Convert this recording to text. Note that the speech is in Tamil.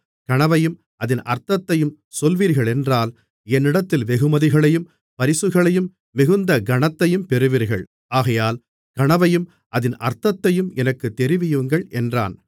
கனவையும் அதின் அர்த்தத்தையும் சொல்வீர்களென்றால் என்னிடத்தில் வெகுமதிகளையும் பரிசுகளையும் மிகுந்த கனத்தையும் பெறுவீர்கள் ஆகையால் கனவையும் அதின் அர்த்தத்தையும் எனக்குத் தெரிவியுங்கள் என்றான்